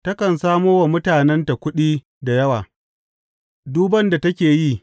Takan samo wa mutanenta kuɗi da yawa, duban da take yi.